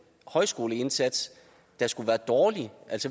højskoleindsats der skulle være dårlig